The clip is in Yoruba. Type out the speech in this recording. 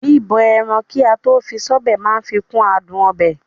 Bíbọ ẹran kató fi sọ́bẹ̀ máa ń fikún àádùn ọbẹ̀.